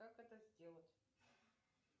как это сделать